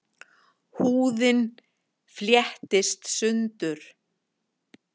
Húðin flettist sundur.